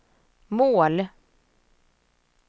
mål